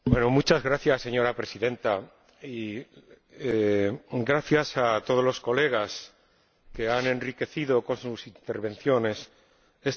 Señora Presidenta, gracias a todos los colegas que han enriquecido con sus intervenciones este debate.